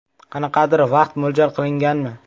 Qanaqadir vaqt mo‘ljal qilinganmi?